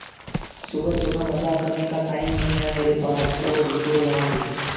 सुबह सुबह मजाक करने का टाइम नहीं है मेरे पास चलो निकलो यहां से